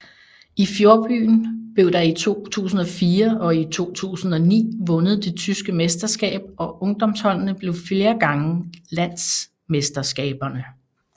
I fjordbyen blev der i 2004 og i 2009 vundet det tyske mesterskab og ungdomsholdene blev flere gange landsmesterskaberne